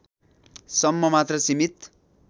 सम्म मात्र सिमित